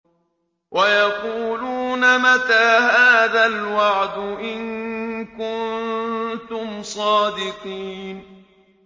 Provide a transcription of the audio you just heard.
وَيَقُولُونَ مَتَىٰ هَٰذَا الْوَعْدُ إِن كُنتُمْ صَادِقِينَ